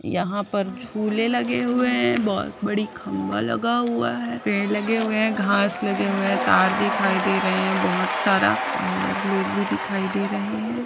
यहाँ पर झूले लगे हुए हैं बहुत बड़ी खम्बा लगा हुआ है पेड़ लगे हुए है घास लगे हुए है तार दिखाई दे रहा है बहुत सारा और लोग भी दिखाई दे रहे हैं।